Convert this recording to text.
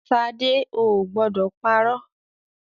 Ṣadé o ò gbọdọ̀ parọ́.